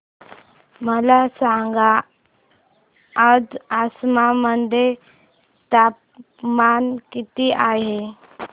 मला सांगा आज आसाम मध्ये तापमान किती आहे